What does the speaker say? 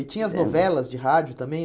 E tinha as novelas de rádio também?